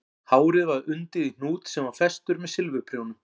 Hárið var undið í hnút sem var festur með silfurprjónum